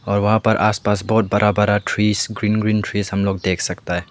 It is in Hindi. और वहां पर आसपास बहुत बड़ा बड़ा ट्री ग्रीन ग्रीन ट्रीस हम लोग देख सकता है।